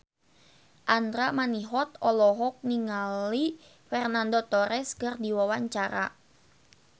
Andra Manihot olohok ningali Fernando Torres keur diwawancara